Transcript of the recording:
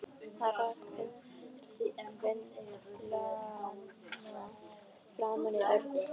Hann rak vindlana framan í Örn.